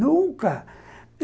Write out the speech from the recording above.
Nunca.